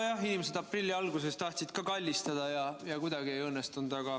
Nojah, inimesed aprilli alguses tahtsid ka kallistada, aga see kuidagi ei õnnestunud.